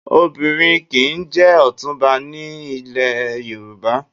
Obìnrin kì í jẹ ọ̀túnba ní ilẹ̀ Yorùbá